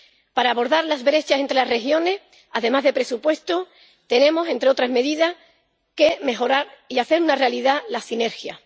Para abordar las brechas entre las regiones, además de presupuesto, tenemos, entre otras medidas, que mejorar y hacer una realidad las sinergias.